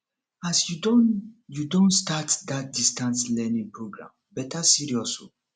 as you don you don start dat distance learning program better serious o